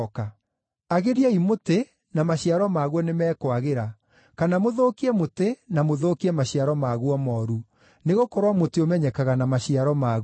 “Agĩriai mũtĩ na maciaro maguo nĩmekwagĩra, kana mũthũkie mũtĩ na mũthũkie maciaro maguo mooru, nĩgũkorwo mũtĩ ũmenyekaga na maciaro maguo.